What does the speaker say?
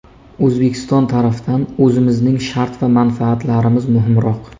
O‘zbekiston tarafdan o‘zimizning shart va manfaatlarimiz muhimroq.